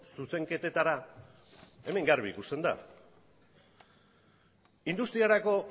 zuzenketetara hemen garbi ikusten da industriarako